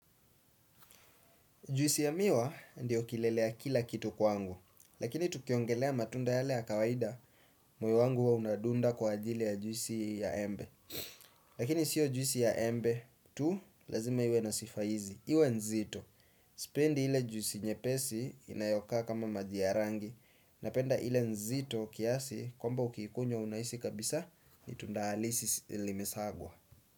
Juisi ya miwa ndiyo kilele ya kila kitu kwangu, lakini tukiongelea matunda yale ya kawaida moyo wangu huwa unadunda kwa ajili ya juisi hii ya embe. Lakini sio juisi ya embe tu lazima iwe na sifa hizi, iwe nzito. Sipendi ile juisi nyepesi inayoka kama maji ya rangi, napenda ile nzito kiasi kwamba ukikunywa unahisi kabisa ni tunda halisi limesagwa.